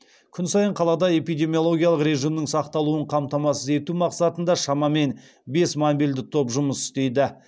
күн сайын қалада эпидемиологиялық режимнің сақталуын қамтамасыз ету мақсатында шамамен бес мобильді топ жұмыс істейді